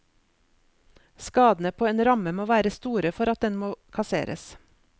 Skadene på en ramme må være store for at den må kasseres.